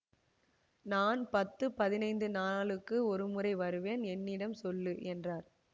நான் பத்து பதினைந்து நாளுக்கு ஒருமுறை வருவேன் என்னிடம் சொல்லு என்றார்